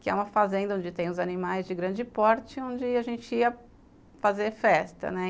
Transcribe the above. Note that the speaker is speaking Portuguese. que é uma fazenda onde tem os animais de grande porte, onde a gente ia fazer festa, né.